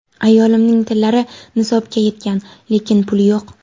Ayolimning tillalari nisobga yetgan, lekin puli yo‘q.